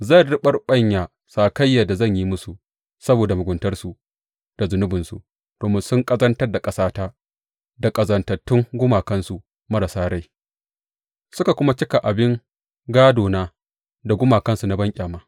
Zan riɓaɓɓanya sakayyar da zan yi musu saboda muguntarsu da zunubinsu, domin sun ƙazantar da ƙasata da ƙazantattun gumakansu marasa rai, suka kuma cika abin gādona da gumakansu na banƙyama.